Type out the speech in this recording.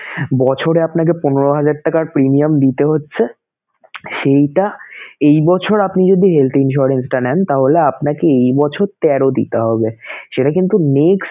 বছরে আপনাকে পনেরো হাজার টাকার premium দিতে হচ্ছে সেইটা এই বছর আপনি যদি health insurance টা নেন তাহলে আপনাকে এই বছর তেরো দিতে হবে সেটা কিন্তু next